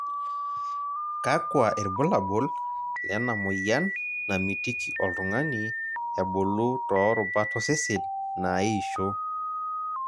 Kakua irbulabol lenamoyian namitiki oltungani ebulu too rubat osesen naaisho?